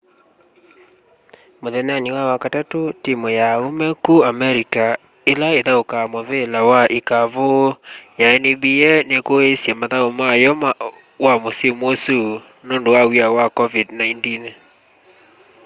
muthenyani wa wakatatu timu ya aume ku america ila ithaukaa muvila wa ikavu ya nba nikuiiisye mathau mayo wa musimu usu nundu wa w'ia wa covid-19